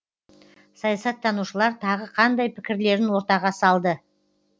саясаттанушылар тағы қандай пікірлерін ортаға салды